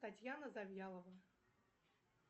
татьяна завьялова